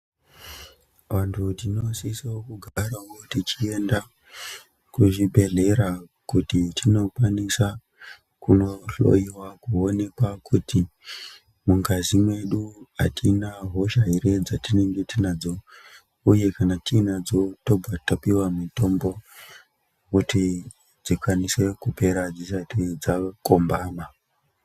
Vantu tinosiso kugarawo techienda kuzvibhedhlera kuti tindokwanisa kunohloiwa kuonekwa kuti mungazi mwedu atina hosha ere dzatinenge tinadzo uye kana tiinadzo tobva tapuwa mitombo kuti dzikwanise kupera dzisati dzakombama.